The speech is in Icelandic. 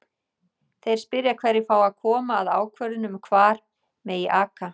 Þeir spyrja hverjir fái að koma að ákvörðun um hvar megi aka?